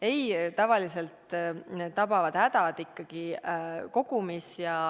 Ei, tavaliselt tabavad hädad ikkagi kogumina.